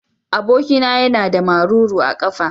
Abokina yana da maruru a kafa.